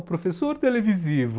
O professor televisivo!